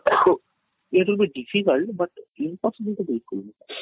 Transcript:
their should be difficult but impossible ତ ବିଲକୁଲ ନୁହେଁ